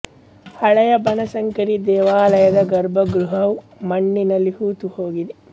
ಹಳೆಯ ಬನಶಂಕರಿ ದೇವಾಲಯದ ಗರ್ಭ ಗೃಹವು ಮಣ್ಣಿನಲ್ಲಿ ಹೂತು ಹೋಗಿದೆ